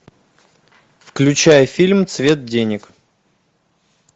включай фильм цвет денег